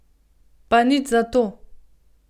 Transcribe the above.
Pa nič zato.